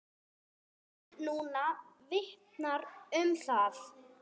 Haustið núna vitnar um það.